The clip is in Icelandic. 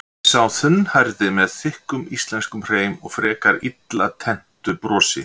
spyr sá þunnhærði með þykkum íslenskum hreim og frekar illa tenntu brosi.